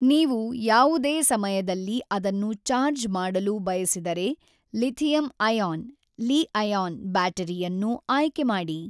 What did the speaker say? ನೀವು ಯಾವುದೇ ಸಮಯದಲ್ಲಿ ಅದನ್ನು ಚಾರ್ಜ್ ಮಾಡಲು ಬಯಸಿದರೆ ಲಿಥಿಯಂ-ಅಯಾನ್ (ಲಿ-ಅಯಾನ್) ಬ್ಯಾಟರಿಯನ್ನು ಆಯ್ಕೆ ಮಾಡಿ.